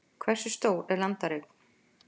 Hversu stór er landareign?